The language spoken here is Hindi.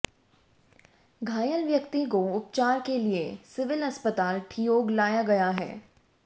घायल व्यक्ति को उपचार के लिए सिविल अस्पताल ठियोग लाया गया है